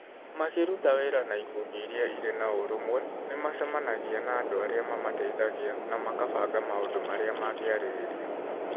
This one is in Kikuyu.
Makĩruta wĩra na ĩkundi nini iria irĩ na ũrũmwe, nĩ macemanagia na andũ arĩa mamateithagia na makabanga maũndu arĩa mangĩarĩrĩria.